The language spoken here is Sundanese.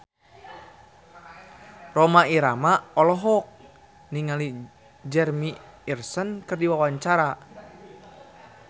Rhoma Irama olohok ningali Jeremy Irons keur diwawancara